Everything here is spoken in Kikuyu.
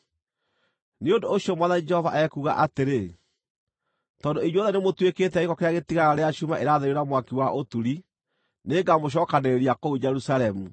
Nĩ ũndũ ũcio Mwathani Jehova ekuuga atĩrĩ: ‘Tondũ inyuothe nĩmũtuĩkĩte gĩko kĩrĩa gĩtigaraga rĩrĩa cuuma ĩratherio na mwaki wa ũturi, nĩngamũcookanĩrĩria kũu Jerusalemu.